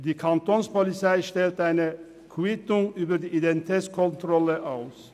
Die Kantonspolizei stellt eine Quittung über die Identitätskontrolle aus.